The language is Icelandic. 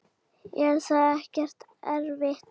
Er það ekkert erfitt?